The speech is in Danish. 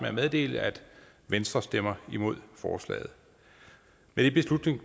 at meddele at venstre stemmer imod forslaget